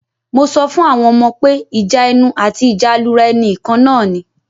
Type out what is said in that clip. Mo sọ fún àwọn ọmọ pé ìjà ẹnu àti ìjà alura ẹni ìkan náà ni.